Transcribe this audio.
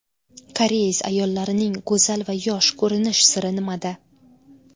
Koreys ayollarining go‘zal va yosh ko‘rinish siri nimada?.